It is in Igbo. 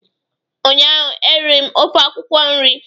ụnyaahụ eriri m ofe akwụkwọ nri